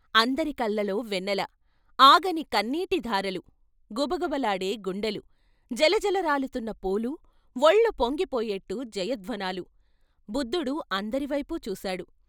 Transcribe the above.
అందరి కళ్ళలో వెన్నెల, ఆగని కన్నీటి ధారలు! గుబ గుబ లాడే గుండెలు, జలజల రాలుతున్న పూలు, వొళ్ళు పొంగి పోయేట్టు జయధ్వానాలు. బుద్ధుడు అందరి వైపు చూశాడు.